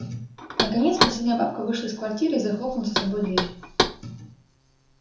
наконец последняя бабка вышла из квартиры и захлопнула за собой дверь